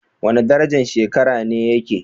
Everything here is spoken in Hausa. Wani darajan shekara ne yake?